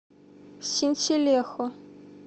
синселехо